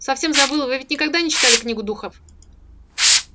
совсем забыл вы ведь никогда не читали книгу духов